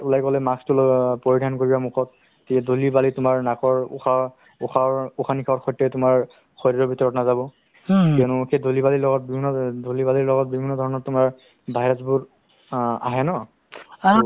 নিশ্চয় নিশ্চয় নিশ্চয় আৰু এটা কথা তোমাক কৈ দিও যিহেতু মানে আ তুমি জান অ জানা বা তোমাৰ area ত হৈ আছে এতিয়া যিটো চৰকাৰে যিটো পদক্ষেপ হাতত লৈছে নহয় জানো মানে আগৰ যি অ যিটো মানুহবিলাক যিয়ে পইচা নিদিয়াত মানুহ মৰি গৈ আছিলে দুই লাখ আৰে লাখ